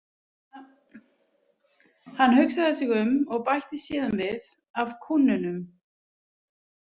Hann hugsaði sig um og bætti síðan við: „Af kúnnunum“